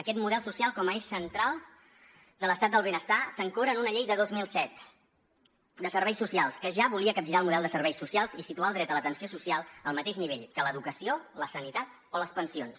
aquest model social com a eix central de l’estat del benestar s’ancora en una llei de dos mil set de serveis socials que ja volia capgirar el model de serveis socials i situar el dret a l’atenció social al mateix nivell que l’educació la sanitat o les pensions